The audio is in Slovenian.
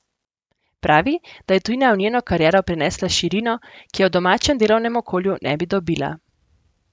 Pravi, da je tujina v njeno kariero prinesla širino, ki je v domačem delovnem okolju ne bi dobila.